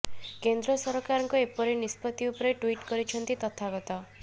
କେନ୍ଦ୍ର ସରକାରଙ୍କ ଏପରି ନିଷ୍ପତି ଉପରେ ଟ୍ୱିଟ୍ କରିଛନ୍ତି ତଥାଗତ